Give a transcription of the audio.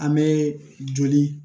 An bɛ joli